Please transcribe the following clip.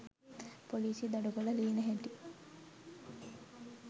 පොලීසිය දඩ කොල ලියන හැටි